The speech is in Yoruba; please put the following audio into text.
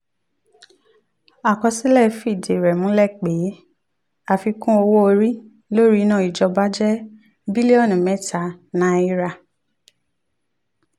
àkọsílẹ̀ fìdí rẹ̀ múlẹ̀ pé àfikún owó orí lórí iná ìjọba jẹ́ bílíọ̀nù mẹ́ta náírà.